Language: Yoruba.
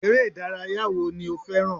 Eré ìdárayá wo ni o fẹràn?